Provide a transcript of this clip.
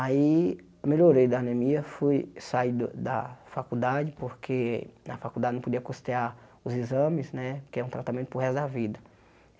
Aí, melhorei da anemia, fui sair do da faculdade, porque na faculdade não podia costear os exames, né, que é um tratamento para o resto da vida.